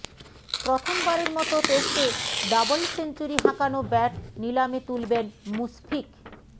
প্রথমবারের মতো টেস্টে ডাবল সেঞ্চুরি হাঁকানো ব্যাট নিলামে তুলবেন মুশফিক